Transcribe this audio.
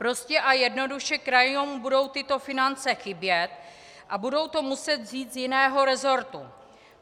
Prostě a jednoduše krajům budou tyto finance chybět a budou to muset vzít z jiného resortu.